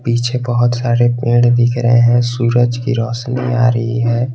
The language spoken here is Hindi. पीछे बहुत सारे पेड़ दिख रहे हैं सूरज की रोशनी आ रही है।